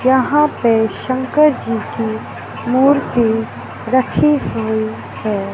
यहां पे शंकर जी की मूर्ति रखी हुई है।